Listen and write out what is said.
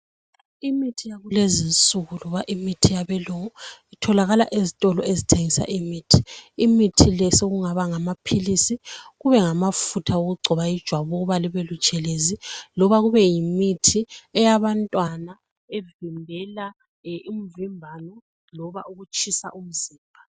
Imithi yalezinsuku lobaimithi yabelungu itholakala ezitolo ezitshiyeneyo. Imithi le sekungaba ngamaphilisi kumbe amafutha okugcoba ijwabu ukuze libe butshelezi. Loba kube yimithi yabantwana evimbela umvimbano loba ukutshisa komzimba.